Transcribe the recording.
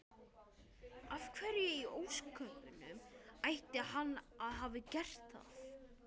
Af hverju í ósköpunum ætti hann að hafa gert það?